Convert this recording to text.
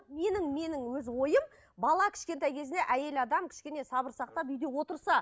менің менің өз ойым бала кішкентай кезінде әйел адам кішкене сабыр сақтап үйде отырса